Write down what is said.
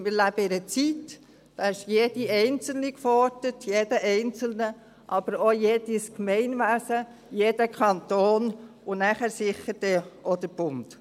Wir leben in einer Zeit, da ist jede Einzelne und jeder Einzelne gefordert, aber auch jedes Gemeinwesen, jeder Kanton und nachher sicher dann auch der Bund.